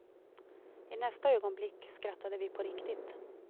I nästa ögonblick skrattade vi på riktigt.